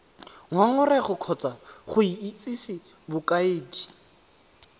ngongorego kgotsa go itsise bokaedi